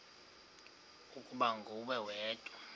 ukuba nguwe wedwa